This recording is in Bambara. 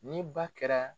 Ni ba kɛra